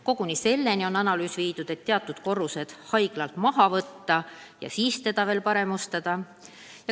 Koguni seda on analüüsitud, et vahest mõned korrused maha võtta ja siis hoone korda teha.